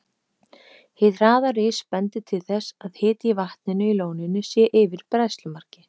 Hið hraða ris bendir til þess, að hiti í vatninu í lóninu sé yfir bræðslumarki.